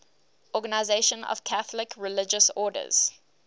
organisation of catholic religious orders